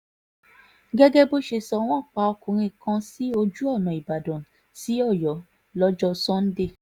gẹ́gẹ́ bó ṣe sọ wọ́n pa ọkùnrin kan sí ojú ọ̀nà ìbàdàn sí ọ̀yọ́ lọ́jọ́ sànńdẹ̀